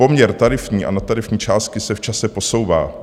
Poměr tarifní a nadtarifní částky se v čase posouvá.